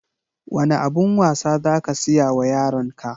Wane abun wasa za ka siya wa yaron ka?